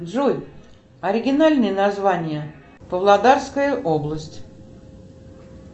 джой оригинальное название павлодарская область